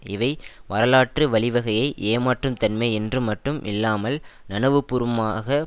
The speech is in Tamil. இவை வரலாற்று வழிவகையை ஏமாற்றும் தன்மை என்று மட்டும் இல்லாமல் நனவுபூர்வமாக